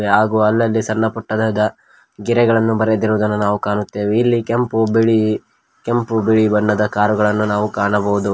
ಹಾಗೂ ಅಲ್ಲಲ್ಲಿ ಸಣ್ಣಪುಟ್ಟದಾದ ಗೆರೆಗಳನ್ನು ಬರೆದಿರುವುದನ್ನು ನಾವು ಕಾಣುತ್ತೇವೆ ಇಲ್ಲಿ ಕೆಂಪು ಬಿಳಿ ಕೆಂಪು ಬಿಳಿ ಬಣ್ಣದ ಕಾರ್ ಗಳನ್ನ ಕಾಣಬಹುದು.